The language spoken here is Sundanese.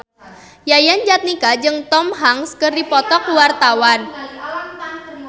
Yayan Jatnika jeung Tom Hanks keur dipoto ku wartawan